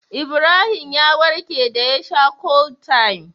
Ibrahim ya warke da ya sha Cold-time